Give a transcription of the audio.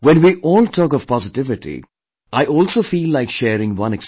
When we all talk of positivity, I also feel like sharing one experience